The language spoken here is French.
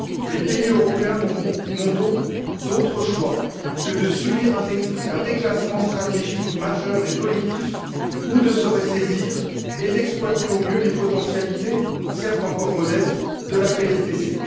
Les pays européens n'ont donc d'autre choix que de subir un déclassement stratégique majeur et collectif, ou de se ressaisir et d'exploiter au mieux les potentialités, certes encore modestes, de la PSDC.